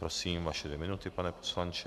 Prosím, vaše dvě minuty, pane poslanče.